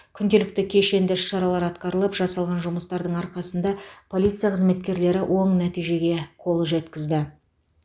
күнделікті кешенді іс шаралар атқарылып жасалған жұмыстардың арқасында полиция қызметкерлері оң нәтижеге қол жеткізді